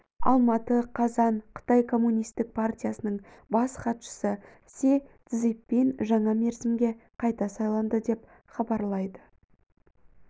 алматы қазан қытай коммунистік партиясының бас хатшысы си цзиньпин жаңа мерзімге қайта сайланды деп хабарлайды